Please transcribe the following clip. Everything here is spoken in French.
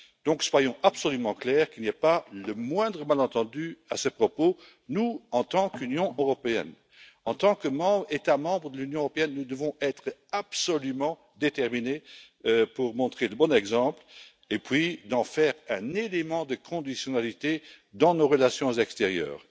Donc, soyons absolument clairs afin qu'il n'y ait pas le moindre malentendu à ce propos, nous en tant qu'Union européenne, en tant qu'États membres de l'Union européenne, nous devons être absolument déterminés pour montrer le bon exemple et en faire un élément de conditionnalité dans nos relations extérieures.